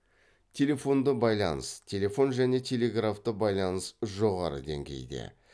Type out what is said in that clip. телефонды байланыс телефон және телеграфты байланыс жоғары деңгейде